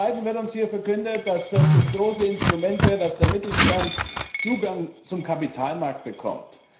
Zum Zweiten wird uns hier verkündet, dass das das große Instrument wäre, damit der Mittelstand Zugang zum Kapitalmarkt bekommt.